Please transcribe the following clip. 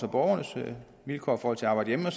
og borgernes vilkår for at arbejde hjemme og